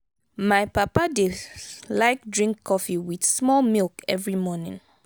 my papa dey like drink cofee wit small milk every morning.